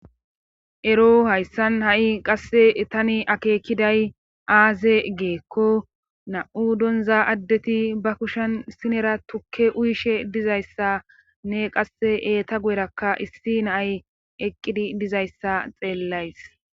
ero hayssan ha7i qasse tani akeekiday aaze geekko na7u donza addeti ba kushen sinera tukke uyishe dizayssa ne qasse eeta guyrakka issi naay eqqidi dizayssa xeellays